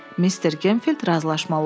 Mister Gemfild razılaşmalı oldu.